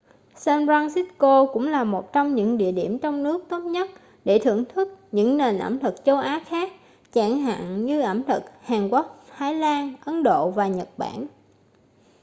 san francisco cũng là một trong những địa điểm trong nước tốt nhất để thưởng thức những nền ẩm thực châu á khác chẳng hạn như ẩm thực hàn quốc thái lan ấn độ và nhật bản